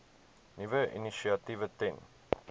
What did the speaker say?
nuwe initiatiewe ten